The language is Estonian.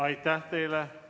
Aitäh teile!